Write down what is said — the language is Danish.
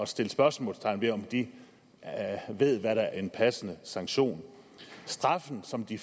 sætte spørgsmålstegn ved om de ved hvad der er en passende sanktion straffen som de